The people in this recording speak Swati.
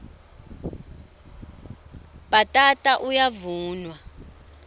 bhatata uyavunwa